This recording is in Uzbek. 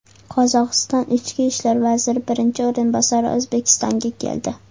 Qozog‘iston ichki ishlar vaziri birinchi o‘rinbosari O‘zbekistonga keldi.